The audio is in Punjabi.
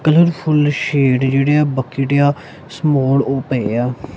ਕਲਰਫੁਲ ਸ਼ੇਡ ਜਿਹੜੇ ਆ ਬੱਕੇਡ ਏ ਆ ਸਮੋਲ ਉਹ ਪਏ ਆ।